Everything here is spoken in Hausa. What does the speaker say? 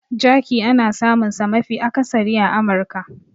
Jerky ana samunsa mafi akasari a Amurka.